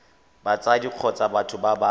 batsadi kgotsa batho ba ba